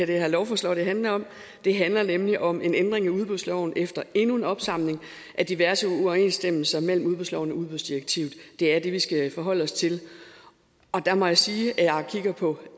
det her lovforslag handler om det handler nemlig om en ændring af udbudsloven efter endnu en opsamling af diverse uoverensstemmelser mellem udbudsloven og udbudsdirektivet det er det vi skal forholde os til og der må jeg sige jeg kigger på